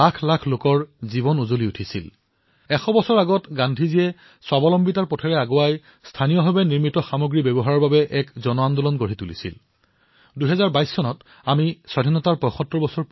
লক্ষাধিক লোকৰ ত্যাগ তপস্যা বলিদানৰ বাবে আজি যি স্বাধীনতা আমি লাভ কৰিলোআৰু দেশৰ বাবে জীৱন ত্যাগ কৰা নামীঅনামী অসংখ্য লোক বোধহয় আমি বহু কম লোকৰহে নাম জানোকিন্তু তেওঁলোকে বলিদান দিলে সেই সপোনক আঁকোৱালি স্বাধীন ভাৰতৰ সপোনক আঁকোৱালি সমৃদ্ধ সুখী সম্পন্ন স্বাধীন ভাৰতৰ বাবে